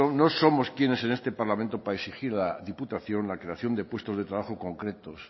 no somos quiénes en este parlamento para exigir a la diputación la creación de puestos de trabajo concretos